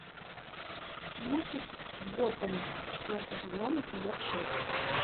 мультик готэм четвертый сезон эпизод шесть